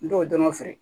N t'o dɔn n fɛ